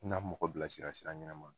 Na mɔgɔ bilasira sira ɲɛnɛma